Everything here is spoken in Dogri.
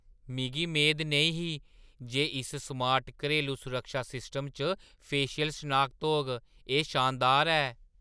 मिगी मेद नेईं ही जे इस स्मार्ट घरेलू सुरक्षा सिस्टमै च फेशियल शनाखत होग। एह् शानदार ऐ!